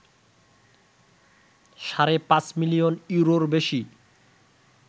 সাড়ে ৫ মিলিয়ন ইউরোর বেশি